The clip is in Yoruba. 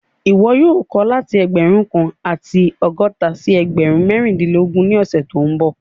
Ìwọ́ yóò kọ̀ láti ẹgbẹ́run kan àti ọgọta sí ẹgbẹ́run mẹ̀rìnlẹ̀lọ́gọ́run ni ọṣẹ̀ tó nbọ̀